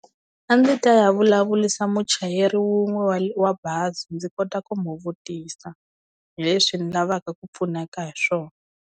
A ndzi ta ya vulavurisa muchayeri wun'we wa wa bazi ndzi kota ku mu vutisa hi leswi ni lavaka ku pfuneka hi swona.